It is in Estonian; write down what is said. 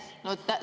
Aitäh!